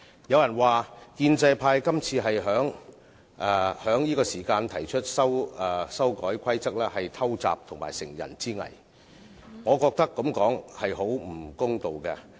有人說，建制派在這個時候提出修改《議事規則》是偷襲和乘人之危，我認為這種說法非常不公道。